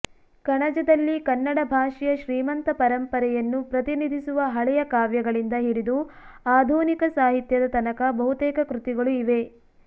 ಕಣಜದಲ್ಲಿ ಕನ್ನಡ ಭಾಷೆಯ ಶ್ರೀಮಂತ ಪರಂಪರೆಯನ್ನು ಪ್ರತಿನಿಧಿಸುವ ಹಳೆಯ ಕಾವ್ಯಗಳಿಂದ ಹಿಡಿದು ಆಧುನಿಕ ಸಾಹಿತ್ಯದ ತನಕ ಬಹುತೇಕ ಕೃತಿಗಳು ಇವೆ